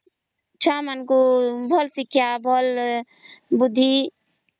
ଛୁଆ ମାନଙ୍କୁ ଭଲ ଶିକ୍ଷା ଭଲ ବୁଦ୍ଧି